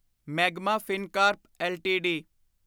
magma Fincorp LTD